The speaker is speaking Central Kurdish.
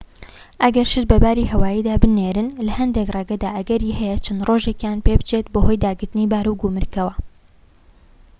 ئەگەر شت بە باری هەواییدا بنێرن لە هەندێك ڕێگەدا ئەگەری هەیە چەند ڕۆژێکیان پێ بچێت بەهۆی داگرتنی بار و گومرگەوە